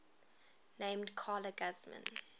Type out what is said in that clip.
named carla guzman